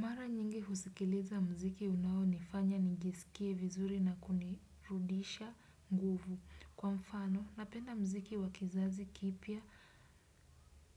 Mara nyingi husikiliza mziki unao nifanya nijisikie vizuri na kunirudisha nguvu. Kwa mfano, napenda mziki wakizazi kipya